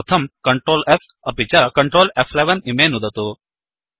तदर्थं सीटीआरएल्स् अपि च Ctrl F11इमे नुदतु